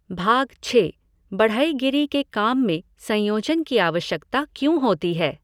भाग छः बढ़ईगिरी के काम में संयोजन की आवश्यकता क्यों होती है?